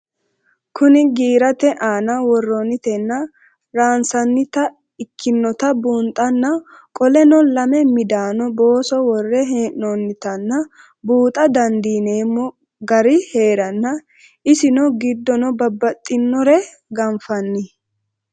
Kuni girate aana woronitena ransanite ikinota bunxana qoleno lame midano booso wore henonitana buuxa dandinemo gari heerano isino gidono babaxinore ganfanni